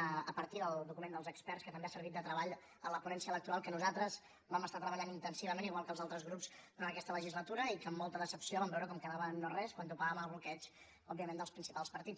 a partir del document dels experts que també ha servit de treball a la ponència electoral que nosaltres hi vam estar treballant intensivament igual que els altres grups durant aquesta legislatura i que amb molta decepció vam veure com quedava en no res quan topava amb el bloqueig òbviament dels principals partits